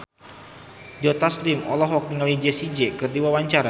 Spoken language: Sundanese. Joe Taslim olohok ningali Jessie J keur diwawancara